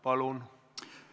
Palun!